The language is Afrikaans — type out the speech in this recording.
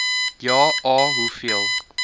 ja a hoeveel